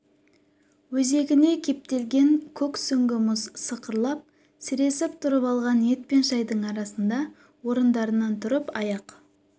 өзегіне кептелген көк сүңгі мұз сықырлап сіресіп тұрып алған ет пен шайдың арасында орындарынан тұрып аяқ